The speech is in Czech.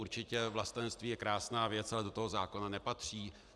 Určitě vlastenectví je krásná věc, ale do toho zákona nepatří.